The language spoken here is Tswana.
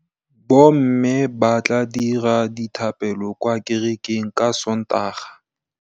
Bommê ba tla dira dithapêlô kwa kerekeng ka Sontaga.